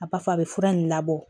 A b'a fɔ a bɛ fura nin labɔ